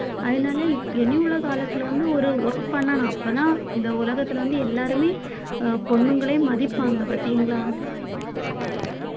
அதனால இனியுள்ள காலத்துல வந்து ஒரு work பண்ணணும் அப்பதான் இந்த உலகத்துல வந்து எல்லாருமே அஹ் பொண்ணுங்களே மதிப்பாங்க பாத்தீங்களா